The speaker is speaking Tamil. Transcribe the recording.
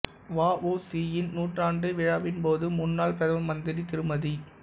வ உ சி யின் நூற்றாண்டு விழாவின் போது முன்னாள் பிரதம மந்திரி திருமதி